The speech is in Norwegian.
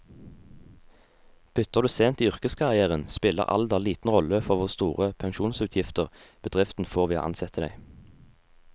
Bytter du sent i yrkeskarrieren, spiller alder liten rolle for hvor store pensjonsutgifter bedriften får ved å ansette deg.